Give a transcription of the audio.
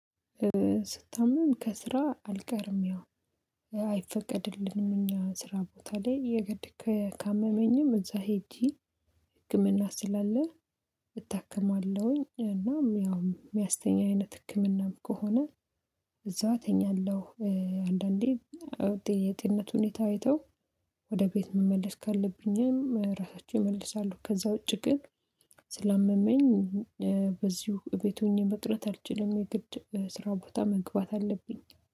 ስታመም ከስራ አልቀርም። ያው አይፈቀድልንም እኛ ስራ ቦታ ላይ የግድ ከ ካመመኝም እዛ ሄጄ ህክምና ስላለ እታከማለሁኝ። እናም ያው የሚያስተኛ አይነት ህክምናም ከሆነ እዛው እተኛለሁ። አንዳንዴ የጤንነት ሁኔታ አይተው ወደ ቤት መመለስ ካለብኝ ራሳቸው ይመልሳሉ። ከዛ ውጪ ግን ስላመመኝ በዚሁ እቤት ሆኜ መቅረት አልችልም። የግድ ስራ ቦታ መግባት አለብኝ።